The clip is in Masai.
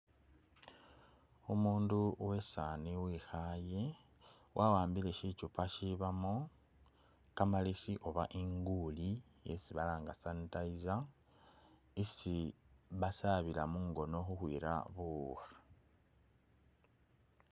Umundu uwesani wekhale wa’ambile shikyupa shibamo kamalesi oba inguli yesi balanga sanitizer isi basabila mungono u’khwira buwukha.